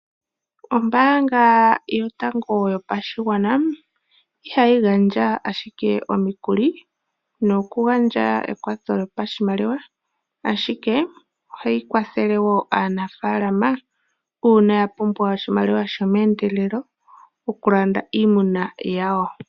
Ombaanga yotango yopashigwana ihayi gandja ashike omikuli nokugandja ekwatho lyopashimaliwa ashike ohayi kwathele wo aanafalama uuna ya pumbwa oshimaliwa shomeendelelo okulanda iimuna yawo.